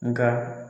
Nka